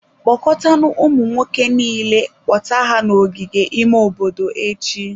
Kpọkọtanụ ụmụ nwoke niile, kpọta ha n'ogige ime obodo echi.